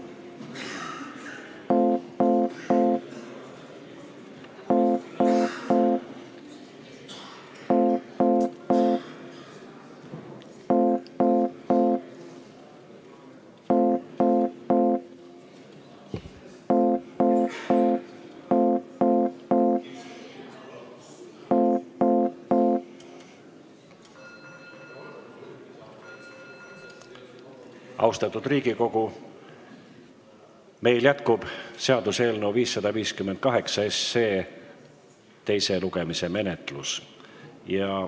Austatud Riigikogu, jätkub seaduseelnõu 558 teise lugemise menetlus.